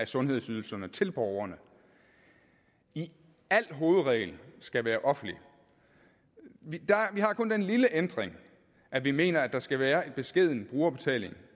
sundhedsydelserne til borgerne i al hovedregel skal være offentlig vi har kun den lille ændring at vi mener der skal være en beskeden brugerbetaling